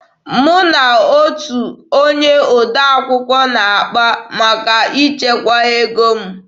Mụ na otu onye odee akwụkwọ na-akpa maka ichekwa ego m.